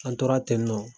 An tora tennɔ